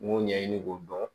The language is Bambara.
N m'o ɲɛɲini k'o dɔn